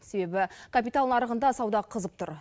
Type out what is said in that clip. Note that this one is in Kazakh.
себебі капитал нарығында сауда қызып тұр